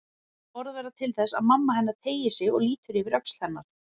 Þessi orð verða til þess að mamma hennar teygir sig og lítur yfir öxl hennar.